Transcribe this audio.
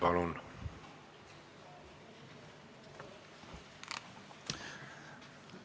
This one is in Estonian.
Palun!